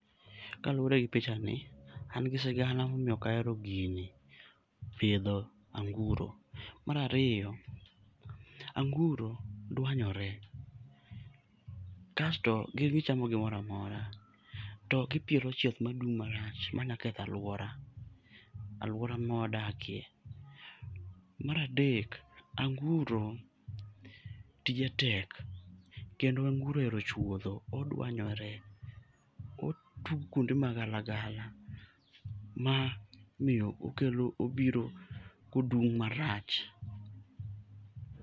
Kaluwore gi pichani, an gi sigana momiyo okahero gini pidho anguro. Marariyo, anguro dwanyore, kasto gin gichamo gimoramora to gipielo chieth madung' marach maketho alwora, alwora mwadakie. Maradek, anguro tije tek kendo anguro ohero chuodho, odwanyore. Otugo kwonde magala gala ma miyo okelo obiro kodung' marach.